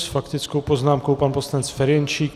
S faktickou poznámkou pan poslanec Ferjenčík.